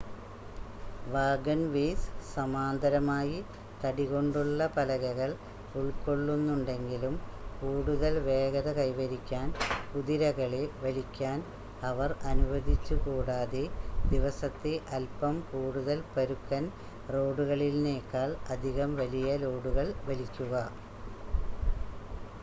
wagonways സമാന്തരമായി തടി കൊണ്ടുള്ള പലകകൾ ഉൾക്കൊള്ളുന്നുണ്ടെങ്കിലും കൂടുതൽ വേഗത കൈവരിക്കാൻ കുതിരകളെ വലിക്കാൻ അവർ അനുവദിച്ചു കൂടാതെ ദിവസത്തെ അൽപ്പം കൂടുതൽ പരുക്കൻ റോഡുകളിൽനേക്കാൾ അധികം വലിയ ലോഡുകൾ വലിക്കുക